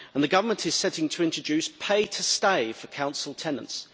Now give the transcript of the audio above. The Government is also set to introduce pay to stay' for council tenants.